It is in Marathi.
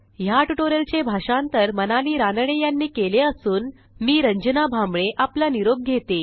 ह्या ट्युटोरियलचे भाषांतर मनाली रानडे यांनी केले असून मी रंजना भांबळे आपला निरोप घेते